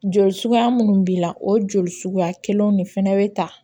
Joli suguya minnu b'i la o joli suguya kelenw de fɛnɛ be ta